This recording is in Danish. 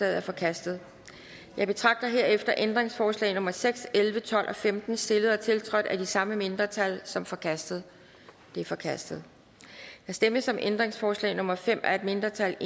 er forkastet jeg betragter herefter ændringsforslag nummer seks elleve tolv og femten stillet og tiltrådt af det samme mindretal som forkastet de er forkastet der stemmes om ændringsforslag nummer fem af et mindretal